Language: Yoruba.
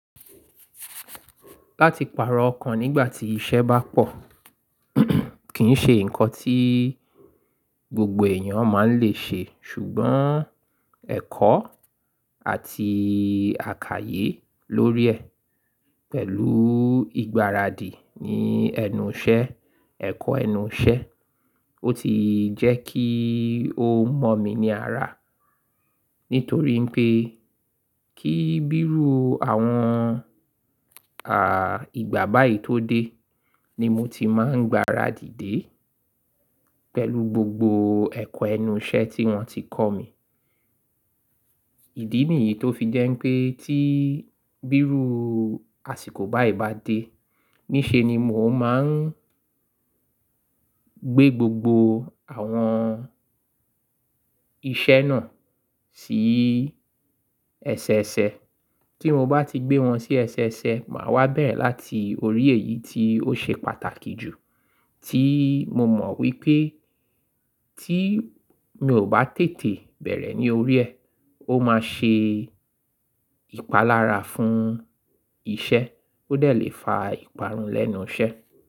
Láti pàrọ̀ ọkàn nígbà tí iṣẹ́ bá pọ̀ kì ń ṣe nǹkan tí gbogbo èèyàn máa ń le ṣe. Ṣùgbọ́n ẹ̀kọ́ àti àkayé lórí ẹ̀ pẹ̀lú ìgbáradì ní ẹnu iṣẹ́, ẹ̀kọ́ ẹnu iṣẹ́, ó ti jẹ́ kí ó mọ̀ mí ní ara. Nítorí ìpè ni kí bírú ìgbà báyìí tó dé, ni mo ti máa ń gbáradì déé pẹ̀lú gbogbo ẹ̀kọ́ ẹnu iṣẹ́ tí wọ́n ti kọ́ mi ìdí nìyí tó fi jẹ́ pé tí bírú àsìkò báyìí bá dé, ní ṣe ni mò máa ń gbé gbogbo àwọn iṣẹ́ náà sí ẹsẹ ẹsẹ. Tí mo bá ti gbé wọn sí ẹsẹ ẹsẹ, màá wá bẹ̀rẹ̀ láti orí èyí tí ó ṣe pàtàkì jù, tí mo mọ̀ wípé tí mi ò bá tètè bẹ̀rẹ̀ ní orí ẹ, ó máa ṣe ìpalára fún iṣẹ́, ó dẹ̀ le fa ìparun lẹ́nu iṣẹ́.